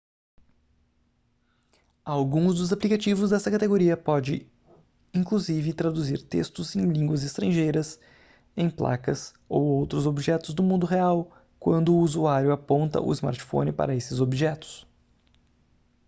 alguns dos aplicativos desta categoria podem inclusive traduzir textos em línguas estrangeiras em placas ou outros objetos do mundo real quando o usuário aponta o smartphone para esses objetos